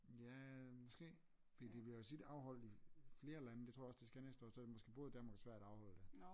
Ja måske fordi det bliver jo tit afholdt i flere lande det tror jeg også det skal næste år så er det måske både Danmark og Sverige der afholder det